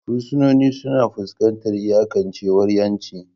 Fursunonin suna fuskantar iyakancewar 'yanci.